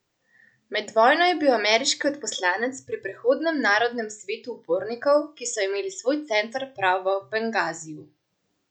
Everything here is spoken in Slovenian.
Med vojno je bil ameriški odposlanec pri prehodnem narodnem svetu upornikov, ki so imeli svoj center prav v Bengaziju.